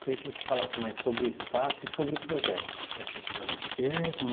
Queria que você falasse mais sobre o espaço e sobre o projeto, efetivamente.